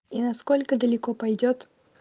и насколько далеко пойдёт